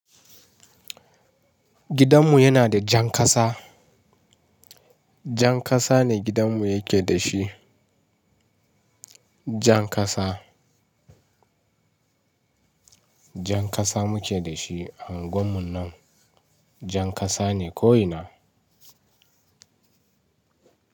Gidanmu yana da jan kasa. Jan kasa ne gidanmu yake da shi. Jan kasa. Jan kasa muke da shi a unguwar mu nan. Jan kasa ne ko ina.